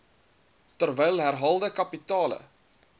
terwyl herhaalde kapitale